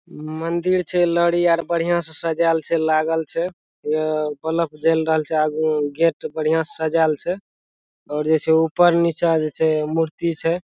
मंदिर छै लड़ी आर बढ़िया से सजाइल छै | लागल छै उ बल्फ जएल रहल छै आगु में गेट बढ़िया से सजाइल छै और जे छै ऊपर नीचा जे छै मूर्ति छै ।